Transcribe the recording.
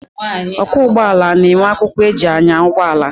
Ọkwọ ụgbọala na-enwe akwụkwọ eji anya ụgbọala.